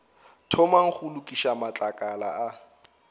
thomang go lokiša matlakala a